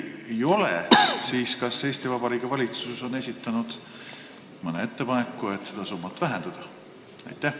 Kui ei ole, siis kas Eesti Vabariigi valitsus on esitanud mõne ettepaneku, et seda summat vähendada?